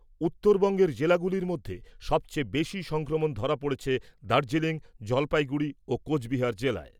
উত্তরবঙ্গের জেলাগুলির মধ্যে সবচেয়ে বেশী সংক্রমণ ধরা পড়েছে দার্জিলিং, জলপাইগুড়ি ও কোচবিহার জেলায়।